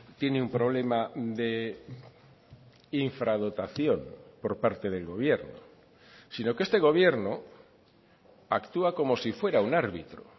tiene un problema de infradotación por parte del gobierno sino que este gobierno actúa como si fuera un árbitro